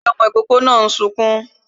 Ṣé ọmọ ìkókó náà ń sunkún?